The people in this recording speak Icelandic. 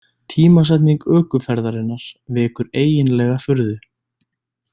Tímasetning ökuferðarinnar vekur eiginlega furðu.